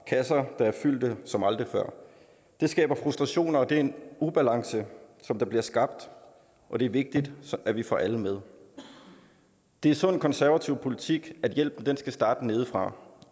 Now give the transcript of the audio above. kasser der er fyldte som aldrig før det skaber frustrationer og det er en ubalance der bliver skabt og det er vigtigt at vi får alle med det er sund konservativ politik at hjælpen skal starte nedefra